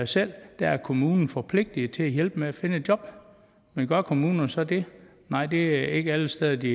selv er kommunen forpligtet til at hjælpe med at finde et job men gør kommunerne så det nej det er ikke alle steder de